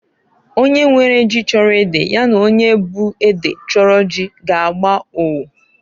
Onye nwere ji chọrọ ede ya na onye bu ede chọrọ ji g'agba onwo.